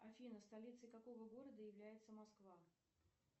афина столицей какого города является москва